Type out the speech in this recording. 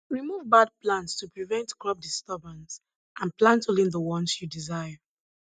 remove bad plants to prevent crop disturbance and plant only the ones you desire